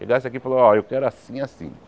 Ele aqui e falou, ó, eu quero assim, assim.